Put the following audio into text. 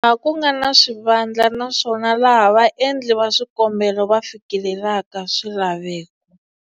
Laha ku nga na swivandla, naswona laha vaendli va swikombelo va fikelelaka swilaveko.